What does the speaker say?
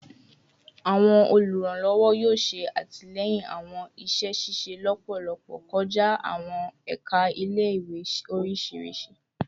Awọn oluranlọwọ yoo ṣe atilẹyin awọn iṣẹ ṣiṣe lọpọlọpọ kọja awọn ẹka ile-iwe oriṣiriṣi